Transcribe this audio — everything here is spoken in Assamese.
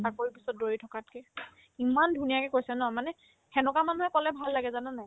চাকৰিৰ পিছত দৌৰি থকাতকে ইমান ধুনীয়াকে কৈছে ন মানে সেনেকুৱা মানুহে ক'লে ভাল লাগে জানানে নাই